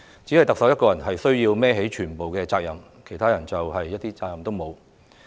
只有特首須要負起全部責任，其他人一點責任也沒有？